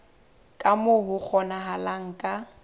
ka moo ho kgonahalang ka